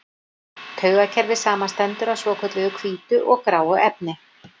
Taugakerfið samanstendur af svokölluðu hvítu og gráu efni.